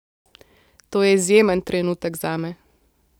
To je izjemen trenutek zame.